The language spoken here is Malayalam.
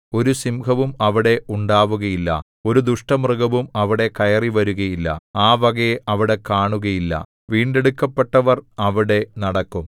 ഒരു സിംഹവും അവിടെ ഉണ്ടാവുകയില്ല ഒരു ദുഷ്ടമൃഗവും അവിടെ കയറി വരുകയില്ല ആ വകയെ അവിടെ കാണുകയില്ല വീണ്ടെടുക്കപ്പെട്ടവർ അവിടെ നടക്കും